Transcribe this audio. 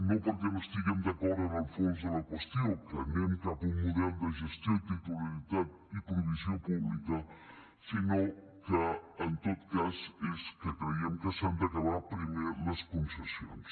no perquè no estiguem d’acord en el fons de la qüestió que anem cap a un model de gestió i titularitat i provisió pública sinó que en tot cas és que creiem que s’han d’acabar primer les concessions